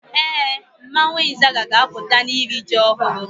Ee, mmanwu Izaga ga-aputa na iri ji ohuru